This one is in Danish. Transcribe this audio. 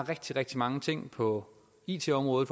rigtig rigtig mange ting på it området